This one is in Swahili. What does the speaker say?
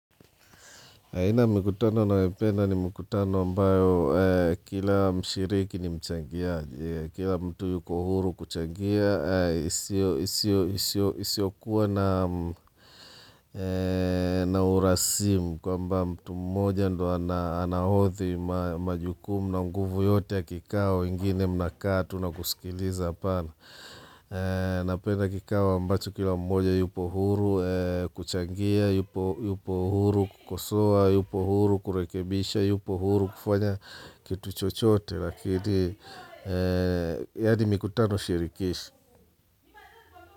Haina ya mikutano ninayopenda ni mikutano ambayo kila mshiriki ni mchangiaji, kila mtu yuko huru kuchangia, isiyokuwa na urasimu kwamba mtu mmoja ndiye anahodhi majukumu na nguvu yote ya kikao wengine mnakaa tu na kusikiliza hapana. Napenda kikao ambacho kila mmoja yupo huru kuchangia, yupo huru kukosoa, yupo huru kurekebisha, yupo huru kufanya kitu chochote. Lakini yaani mikutano shirikishi.